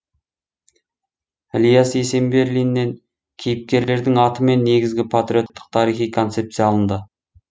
ілияс есенберлиннен кейіпкерлердің аты мен негізгі патриоттық тарихи концепция алынды